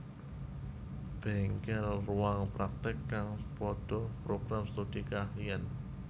Bengkel Ruang praktek kang podo Program Studi Keahlian